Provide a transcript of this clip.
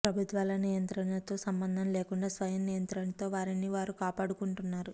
ప్రభుత్వాల నియంత్రతో సంబంధం లేకుండా స్వయం నియంత్రణతో వారిని వారు కాపాడుకుంటున్నారు